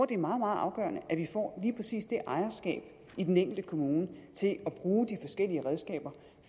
det er meget meget afgørende at vi får lige præcis det ejerskab i den enkelte kommune til at bruge de forskellige redskaber